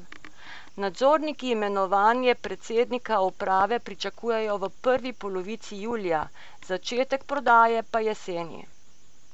Nadzorniki imenovanje predsednika uprave pričakujejo v prvi polovici julija, začetek prodaje pa jeseni.